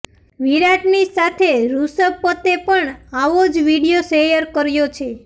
વિરાટની સાથે રૂષભ પંતે પણ આવો જ વીડિયો શેયર કર્યો છે